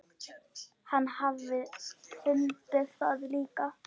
Hann hafi fundið það líka.